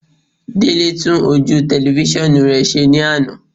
Délé tún ojú tẹlifísàn rẹ̀ ṣe ní àná